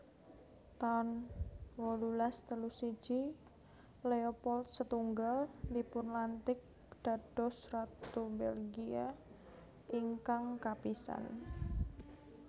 taun wolulas telu siji Leopold setunggal dipunlantik dados ratu Belgia ingkang kapisan